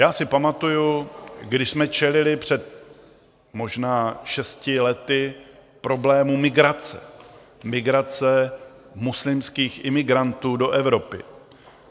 Já si pamatuji, když jsme čelili před možná šesti lety problému migrace, migrace muslimských imigrantů do Evropy.